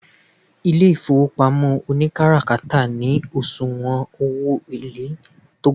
ile ifowopamo onikatakara ni osuwon owo ele to ga